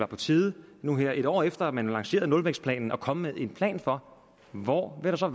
på tide nu her et år efter man har lanceret nulvækstplanen at komme med en plan for hvor der så